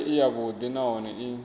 vhonale i yavhuḓi nahone i